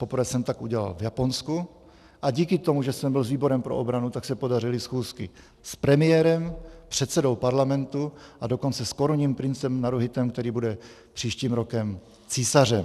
Poprvé jsem tak udělal v Japonsku a díky tomu, že jsem byl s výborem pro obranu, tak se podařily schůzky s premiérem, předsedou parlamentu, a dokonce s korunním princem Naruhitem, který bude příštím rokem císařem.